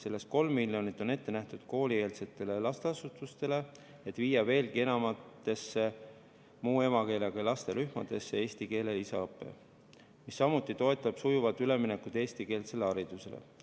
Sellest 3 miljonit on ette nähtud koolieelsetele lasteasutustele, et viia veelgi enamatesse muu emakeelega laste rühmadesse eesti keele lisaõpe, mis samuti toetab sujuvat üleminekut eestikeelsele haridusele.